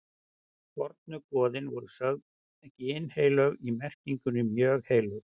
fornu goðin voru sögð ginnheilög í merkingunni mjög heilög